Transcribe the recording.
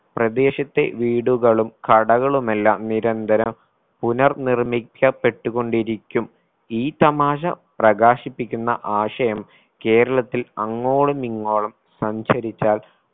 പ്രദേശത്തെ വീടുകളും കടകളുമെല്ലാം നിരന്തരം പുനർനിർമ്മിക്കപ്പെട്ടുകൊണ്ടിരിക്കും ഈ തമാശ പ്രകാശിപ്പിക്കുന്ന ആശയം കേരളത്തിൽ അങ്ങോളമിങ്ങോളം സഞ്ചരിച്ചാൽ